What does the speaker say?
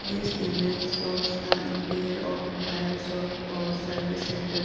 This image shows the interior of a tire shop or service centre.